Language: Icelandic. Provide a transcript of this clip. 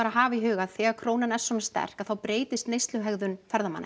hafa í huga þegar krónan er sterk þá breytist neysluhegðun ferðamanna